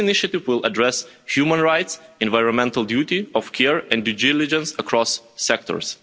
This initiative will address human rights, environmental duty of care and due diligence across sectors.